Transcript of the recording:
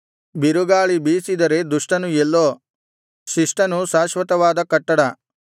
ಬಿರುಗಾಳಿ ಬೀಸಿದರೆ ದುಷ್ಟನು ಎಲ್ಲೋ ಶಿಷ್ಟನು ಶಾಶ್ವತವಾದ ಕಟ್ಟಡ